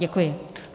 Děkuji.